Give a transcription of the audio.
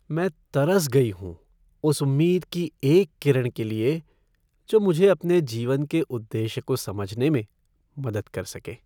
मैं तरस गई हूँ उस उम्मीद की एक किरण के लिए जो मुझे अपने जीवन के उद्देश्य को समझने में मदद कर सके।